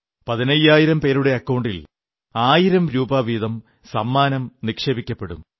പതിനയ്യായിരം പേരുടെ അക്കൌണ്ടിൽ ആയിരം രൂപ വീതം സമ്മാനം നിക്ഷേപിക്കപ്പെടും